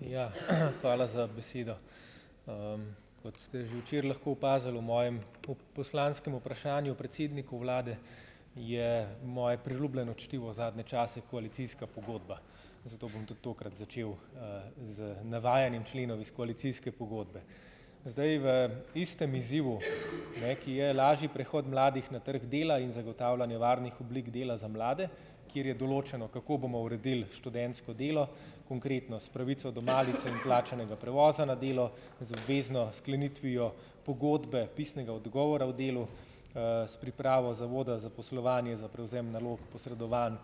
Ja, hvala za besedo. kot ste že včeraj lahko opazili v mojem po poslanskem vprašanju predsedniku vlade je moje priljubljeno čtivo zadnje čase koalicijska pogodba, zato bom tudi tokrat začel, z navajanjem členov iz koalicijske pogodbe, zdaj, v istem izzivu, ne, ki je lažji prehod mladih na trg dela in zagotavljanje varnih oblik dela za mlade, kjer je določeno, kako bomo uredili študentsko delo, konkretno s pravico do malic in plačanega prevoza na delo z obvezno sklenitvijo pogodbe, pisnega odgovora o delu, s pripravo zavoda za poslovanje za prevzem nalog posredovanj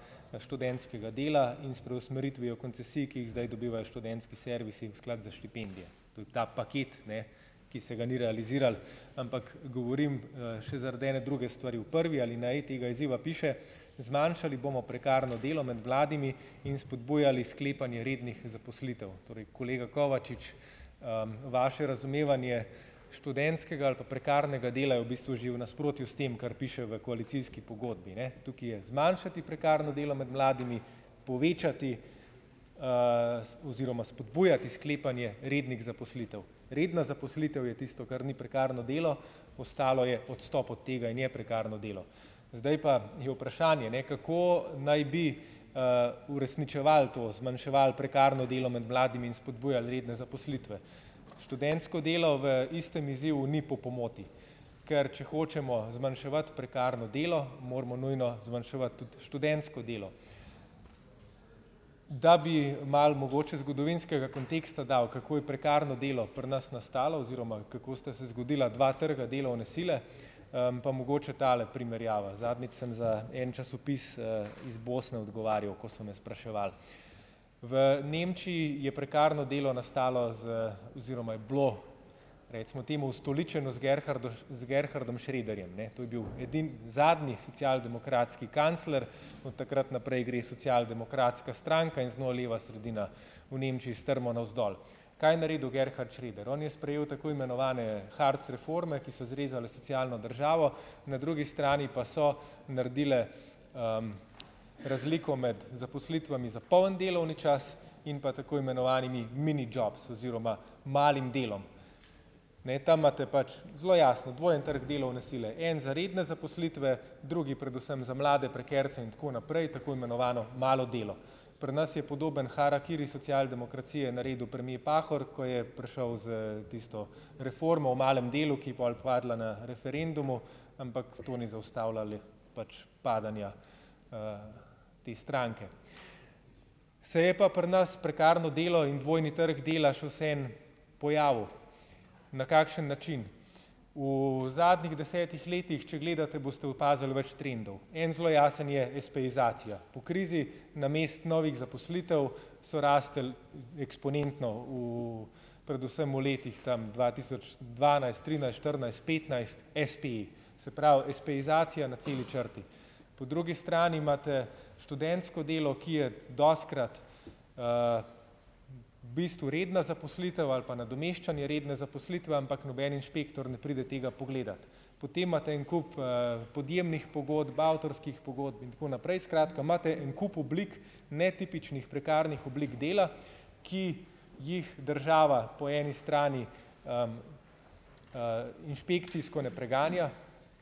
študentskega dela in s preusmeritvijo koncesij, ki jih zdaj dobivajo študentski servisi v sklad za štipendije. Tu ta paket, ne, ki se ga ni realiziralo, ampak govorim, še zaradi ene druge stvari, v prvi alineji tega izziva piše: "Zmanjšali bomo prekarno delo med mladimi in spodbujali sklepanje rednih zaposlitev." Torej kolega Kovačič, vaše razumevanje študentskega ali pa prekarnega dela je v bistvu že v nasprotju s tem, kar piše v koalicijski pogodbi, ne, tukaj je zmanjšati prekarno delo med mladimi, povečati, oziroma spodbujati sklepanje rednih zaposlitev, redna zaposlitev je tisto, kar ni prekarno delo, ostalo je odstop od tega in je prekarno delo, zdaj pa je vprašanje, ne, kako naj bi, uresničevali to, zmanjševali prekarno delo med mladimi in spodbujali redne zaposlitve, študentsko delo v istem izzivu ni po pomoti, ker če hočemo zmanjševati prekarno delo, moramo nujno zmanjševati tudi študentsko delo, da bi malo mogoče zgodovinskega konteksta dal, kako je prekarno delo pri nas nastalo oziroma kako sta se zgodila dva trga delovne sile, pa mogoče tale primerjava, zadnjič sem za en časopis, iz Bosne odgovarjal, ko so me spraševali. V Nemčiji je prekarno delo nastalo z oziroma je bilo recimo temu ustoličeno z Gerhardom Schröderjem, ne, to je bil edini, zadnji socialdemokratski kancler od takrat naprej gre socialdemokratska stranka in z njo leva sredina v Nemčiji strmo navzdol. Kaj je naredil Gerhard Schröder? On je sprejel tako imenovane Hartz reforme, ki so zrezale socialno državo, na drugi strani pa so naredile, razliko med zaposlitvami za poln delovni čas in pa tako imenovanimi mini jobs oziroma malim delom, ne, tam imate pač zelo jasno dvojni trg delovne sile, en za redne zaposlitve, drugi predvsem za mlade prekarce in tako naprej, tako imenovano malo delo pri nas je podoben harakiri socialdemokracije naredil premier Pahor, ko je prišel s tisto reformo o malem delu, ki je pol padla na referendumu, ampak to ni zaustavila pač padanja, te stranke, saj je pa pri nas prekarno delo in dvojni trg dela še vseeno pojavil na kakšen način v zadnjih desetih letih, če gledate, boste opazili več trendov, en zelo jasen je espeizacija. Po krizi namesto novih zaposlitev so rastli eksponentno v predvsem v letih tam dva tisoč dvanajst trinajst štirinajst petnajst espeji, se pravi, espeizacija na celi črti, po drugi strani imate študentsko delo, ki je dostikrat, bistvu redna zaposlitev ali pa nadomeščanje redne zaposlitve, ampak noben inšpektor ne pride tega pogledat, potem imate en kup, podjemnih pogodb, avtorskih pogodb in tako naprej, skratka, imate en kup oblik netipičnih prekarnih oblik dela, ki jih država po eni strani, inšpekcijsko ne preganja,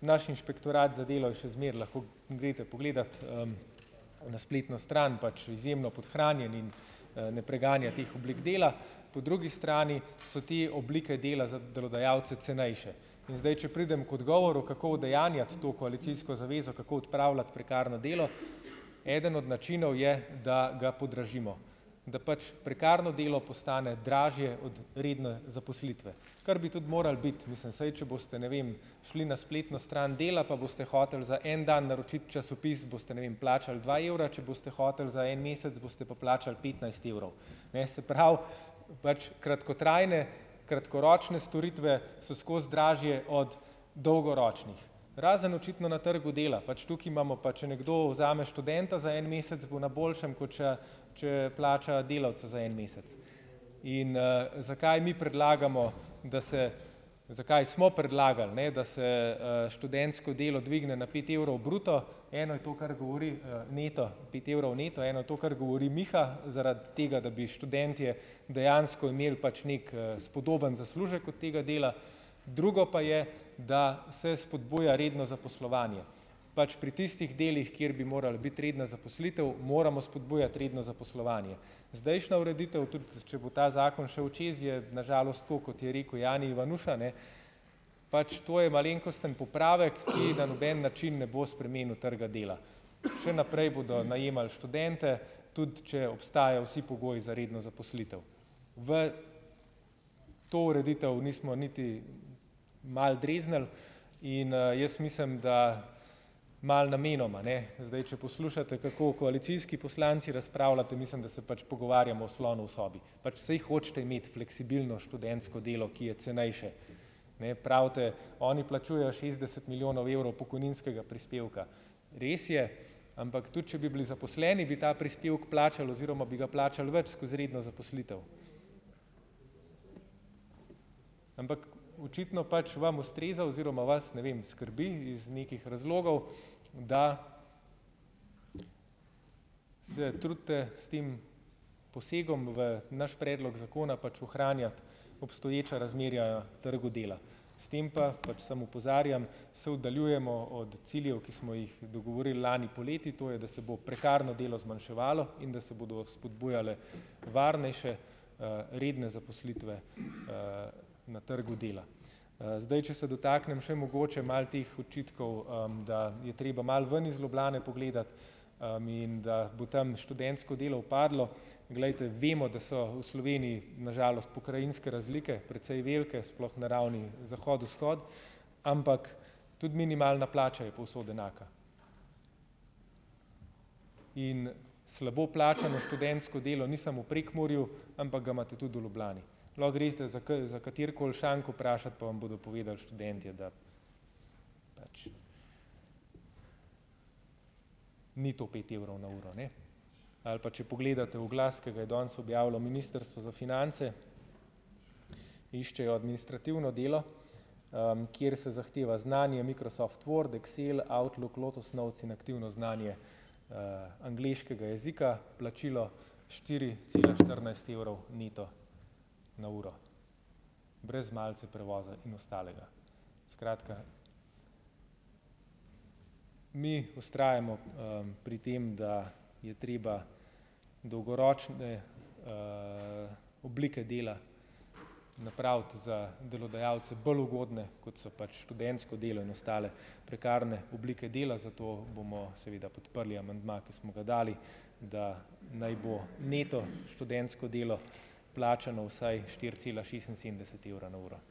naš inšpektorat za delo je še zmeraj, lahko greste pogledat, na spletno stran pač izjemno podhranjen in, ne preganja teh oblik dela, po drugi strani so te oblike dela za delodajalce cenejše, in zdaj če pridem k odgovoru, kako udejanjati to koalicijsko zavezo, kako odpravljati prekarno delo, eden od načinov je, da ga podražimo, da pač prekarno delo postane dražje od redne zaposlitve, kar bi tudi moral biti, mislim vsaj, če boste, ne vem, šli na spletno stran Dela pa boste hoteli za en dan naročiti časopis boste, ne vem, plačali dva evra, če boste hoteli za en mesec, boste pa plačali petnajst evrov. Ne, se pravi, pač kratkotrajne, kratkoročne storitve so skozi dražje od dolgoročnih razen očitno na trgu dela, pač tukaj imamo pa, če nekdo vzame študenta za en mesec, bo na boljšem, kot če, če plača delavca za en mesec in, zakaj mi predlagamo, da se, zakaj smo predlagali, ne, da se, študentsko delo dvigne na pet evrov bruto? Eno je to, kar govori, neto pet evrov neto je na to, kar govori Miha, zaradi tega, da bi študentje dejansko imeli pač neki, spodoben zaslužek od tega dela, drugo pa je, da se spodbuja redno zaposlovanje pač pri tistih delih, kjer bi morala biti redna zaposlitev, moramo spodbujati redno zaposlovanje, zdajšnja ureditev, tudi če bo ta zakon šel čez, je na žalost, tako kot je rekel Jani Ivanuša, ne, pač to je malenkosten popravek, ki na noben način ne bo spremenil trga dela, še naprej bodo najemali študente, tudi če obstajajo vsi pogoji za redno zaposlitev. V to ureditev nismo niti malo dreznili in, jaz mislim, da malo namenoma, ne, zdaj če poslušate kako koalicijski poslanci razpravljate, mislim, da se pač pogovarjamo o slonu v sobi, pač saj hočete imeti fleksibilno študentsko delo, ki je cenejše, ne, pravite: "Oni plačujejo šestdeset milijonov evrov pokojninskega prispevka." Res je, ampak tudi če bi bili zaposleni, bi ta prispevek plačali oziroma bi ga plačali več skozi redno zaposlitev, ampak očitno pač vam ustreza oziroma vas, ne vem, skrbi iz nekih razlogov, da se trudite s tem posegom v naš predlog zakona pač ohranjati obstoječa razmerja trgu dela, s tem pa pač samo opozarjam, se oddaljujemo od ciljev, ki smo jih dogovorili lani poleti, to je, da se bo prekarno delo zmanjševalo in da se bodo spodbujale varnejše, redne zaposlitve, na trgu dela, zdaj če se dotaknem še mogoče malo teh očitkov, da je treba malo ven iz Ljubljane pogledat, in da bo tam študentsko delo upadlo, glejte, vemo, da so v Sloveniji na žalost pokrajinske razlike precej velike, sploh na ravni zahod-vzhod, ampak tudi minimalna plača je povsod enaka, in slabo plačano študentsko delo ni samo Prekmurju, ampak ga imate tudi v Ljubljani, lahko greste za za katerikoli šank vprašat, pa vam bodo povedali študentje, da ni to pet evrov na uro, ne, ali pa če pogledate oglas, ki ga je danes objavilo ministrstvo za finance, iščejo administrativno delo, kjer se zahteva znanje Microsoft Word, Excel, Outlook, Lotus Notes in aktivno znanje, angleškega jezika, plačilo štiri cela štirinajst evrov neto na uro brez malice, prevoza in ostalega, skratka, mi vztrajamo, pri tem, da je treba dolgoročne, oblike dela napraviti za delodajalce bolj ugodne, kot so pač študentsko delo in ostale prekarne oblike dela, zato bomo seveda podprli amandma, ki smo ga dali, da naj bo neto študentsko delo plačano vsaj štiri cela šestinsedemdeset evra na uro,